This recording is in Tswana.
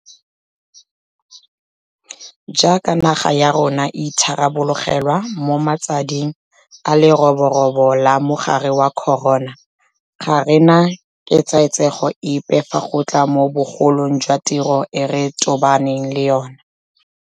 Jaaka naga ya rona e itharabologelwa mo matsading a le roborobo la mogare wa corona, ga re na ketsaetsego epe fa go tla mo bogolong jwa tiro e re tobaneng le yona.